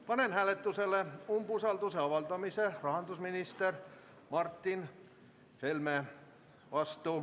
Panen hääletusele umbusalduse avaldamise rahandusminister Martin Helmele.